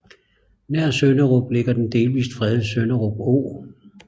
Nær Sønderup ligger den delvist fredede Sønderup Å